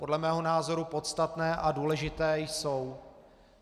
Podle mého názoru podstatné a důležité jsou.